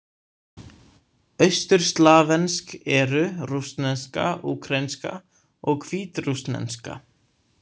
Austurslavnesk eru: rússneska, úkraínska og hvítrússneska.